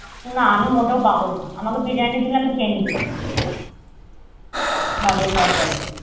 না আমি মোটেও পাগল না আমাকে biryani দিলে আমি খেয়ে নিতে পারি। Burger খাবার পরেও।